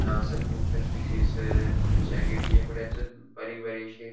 हांगासर पोवक शकता की एसर च्या गेटीच्या फुड्याक बारीक बारिक्षी --